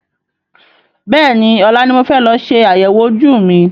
Bẹ́ẹ̀ni, ọ̀la ni mo fẹ́ lọ ṣe àyẹ̀wò ojú mi.